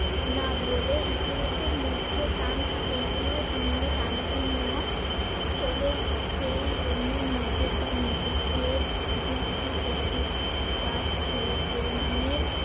না বলে ইতিহাসের মধ্য টান থাকে। ইতিহাস নিয়ে টানাটানিও চলে সেই জন্য নিজের বা নিজেদের যুক্তি যে ঠিক তা প্র~ প্রমানের